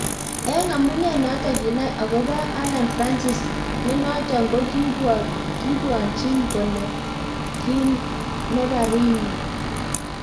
Eng amunee notok kinai akopo Alan francis nenotok kokipwachinkole ki neparinywa